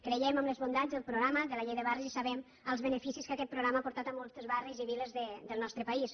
creiem en les bondats del programa de la llei de barris i sabem els beneficis que aquest programa ha portat a molts barris i viles del nostre país